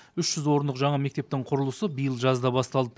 үш жүз орындық жаңа мектептің құрылысы биыл жазда басталды